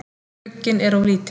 Glugginn er of lítill.